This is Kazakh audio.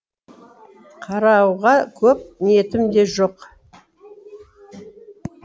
қарауға көп ниетім де жоқ